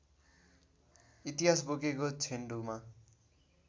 इतिहास बोकेको छेन्डुमा